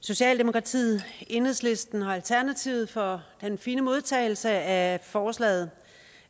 socialdemokratiet enhedslisten og alternativet for den fine modtagelse af forslaget